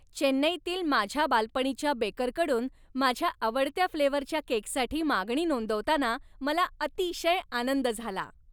चेन्नईतील माझ्या बालपणीच्या बेकरकडून माझ्या आवडत्या फ्लेवरच्या केकसाठी मागणी नोंदवताना मला अतिशय आनंद झाला.